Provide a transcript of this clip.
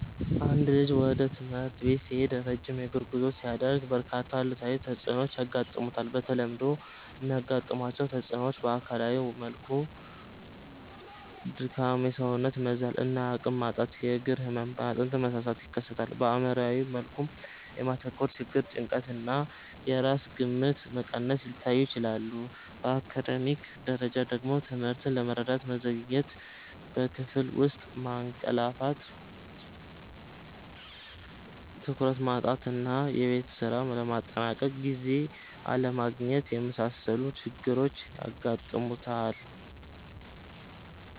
አንድ ልጅ ወደ ትምህርት ቤት ሲሄድ ረጅም የእግር ጉዞ ሲያደርግ፣ በርካታ አሉታዊ ተጽዕኖዎች ያጋጥሙታል። በተለምዶ የሚያጋጥሟቸው ተጽዕኖዎች በአካላዊ መልኩ ድካም፣ የሰውነት መዛል እና አቅም ማጣት፣ የእግር ህመም፣ የአጥንት መሳሳት ይከሰታል። በአእምሯዊ መልኩ የማተኮር ችግር፣ ጭንቀት እና የራስ ግምት መቀነስ ሊታዩ ይችላሉ። በአካዳሚክ ደረጃ ደግሞ ትምህርትን ለመረዳት መዘግየት፣ በክፍል ውስጥ ማንቀላፋት፣ ትኩረት ማጣት እና የቤት ስራ ለማጠናቀቅ ጊዜ አለማግኘት የመሳሰሉ ችግሮች ያጋጥሙታል።